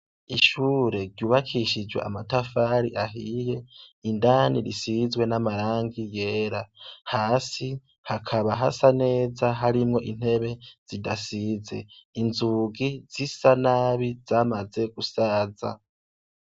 Ishure ryubakishijw' amatafar'ahiye, indani risizwe n' amarangi yera, hasi hakaba hasa neza harimwo intebe zidasize, inzugi zisa nabi zamaze gusaza.